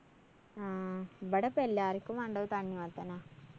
ആ ഇബടെ ഇപ്പോ എല്ലാര്‍ക്കും വേണ്ടത് തണ്ണിമത്തനാ.